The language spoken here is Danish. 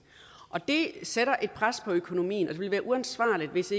og det sætter et pres på økonomien det ville være uansvarligt hvis